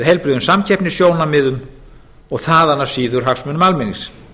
heilbrigðum samkeppnissjónarmiðum og þaðan af síður hagsmunum almennings